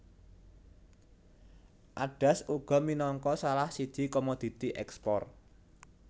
Adas uga minangka salah siji komoditi ekspor